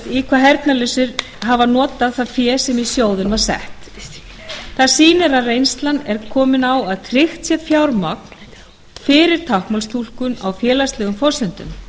hvað heyrnarlausir hafa notað það fé sem í sjóðinn var sett það sýnir að reynslan er komin á að tryggja verður fjármagn fyrir táknmálstúlkun á félagslegum forsendum